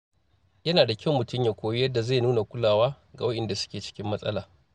Yana da kyau mutum ya koyi yadda zai nuna kulawa ga waɗanda ke cikin matsala.